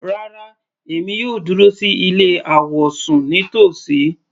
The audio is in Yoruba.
Rárá, èmi yóò dúró sí ilé àwọ̀sùn nítòsí.